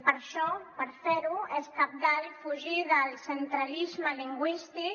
per a això per fer ho és cabdal fugir del centralisme lingüístic